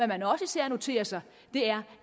man også især noterer sig er